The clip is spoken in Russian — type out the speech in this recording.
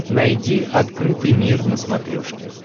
найди открытый мир на смотрешке